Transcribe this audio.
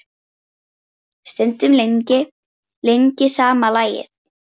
Stundum lengi, lengi sama lagið.